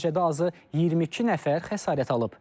Nəticədə azı 22 nəfər xəsarət alıb.